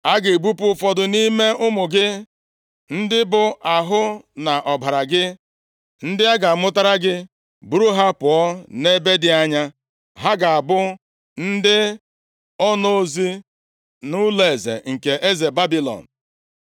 A ga-ebupụ ụfọdụ nʼime ụmụ gị, ndị bụ ahụ na ọbara gị, + 20:18 Ụmụ sị nʼahụ gị pụta ndị a ga-amụtara gị, buru ha pụọ nʼebe dị anya, ha ga-abụ ndị onozi nʼụlọeze nke eze Babilọn.”